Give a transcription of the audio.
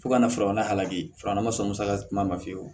Fo ka na filanan halaki filanan ma sɔn musaka kuma ma fiyewu